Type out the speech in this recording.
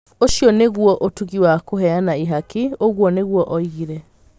Ũcio nĩ guo ũtugĩ wa kũheana ihaki, " ũguo nĩguo oigire.